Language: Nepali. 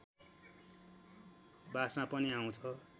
बस्ना पनि आउँछ